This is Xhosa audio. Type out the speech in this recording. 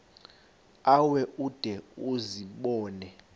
ewe ude uzibone